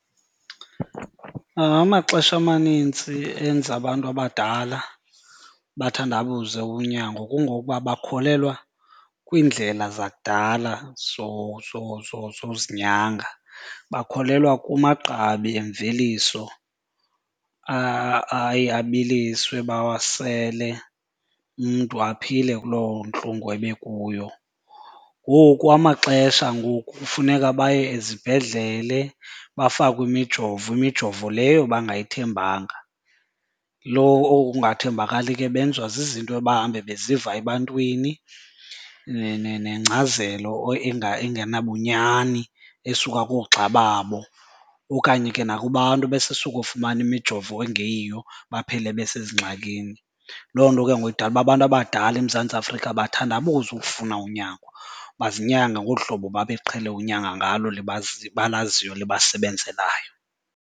Amaxesha amanintsi enza abantu abadala bathandabuze unyango kungokuba bakholelwa kwiindlela zakudala zozinyanga, bakholelwa kumagqabi emveliso aye abiliswe bawasele umntu aphile kulo ntlungu ebekuyo. Ngoku kwamaxesha ngoku kufuneka baye ezibhedlele bafakwe imijovo, imijovo leyo bangayithembanga. Lo oku kungathembakali ke benziwa zizinto ebahambe beziva ebantwini nengcazelo engenabunyani esuka koogxa babo okanye ke nakubantu abasesuka ofumana imijovo engeyiyo baphele besezingxakini. Loo nto ke ngoku idala uba abantu abadala eMzantsi Afrika bathandabuze ukufuna unyango, bazinyange ngolu hlobo babeqhele unyango ngalo balaziyo libasebenzelayo.